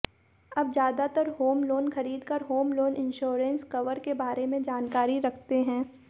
अब ज्यादातर home loan खरीदार होम लोन इंश्योरेंस कवर के बारे में जानकारी रखते हैं